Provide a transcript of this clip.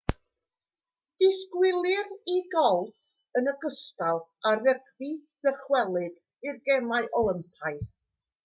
disgwylir i golff yn ogystal â rygbi ddychwelyd i'r gemau olympaidd